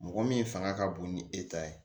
Mɔgɔ min fanga ka bon ni e ta ye